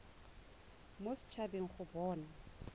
mo set habeng go bona